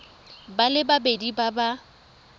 ba le babedi ba ba